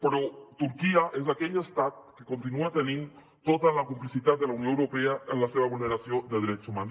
però turquia és aquell estat que continua tenint tota la complicitat de la unió europea en la seva vulneració de drets humans